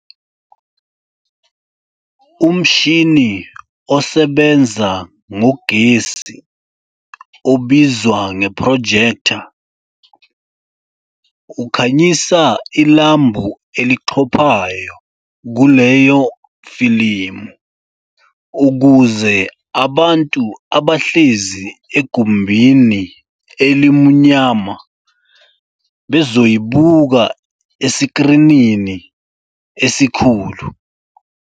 Umshini osebenza ngogesi obizwa nge"projector," ukhanyisa ilambu elixhophayo kuleyofilimu ukuze abantu abahlezi egumbini elimunyama bezoyibuka esikrinini esikhulu.